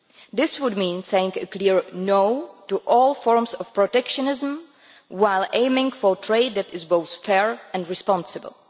This would mean saying a clear no' to all forms of protectionism while aiming for trade that is both fair and responsible.